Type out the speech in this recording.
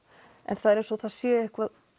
en það er eins og það sé eitthvað